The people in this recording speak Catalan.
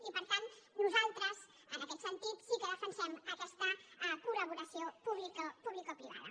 i per tant nosaltres en aquest sentit sí que defensem aquesta collaboració publicoprivada